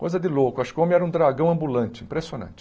Coisa de louco, acho que o homem era um dragão ambulante, impressionante.